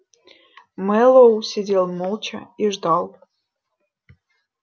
мэллоу сидел молча и ждал